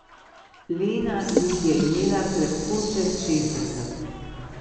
Lena jih je imela krepko čez šestdeset.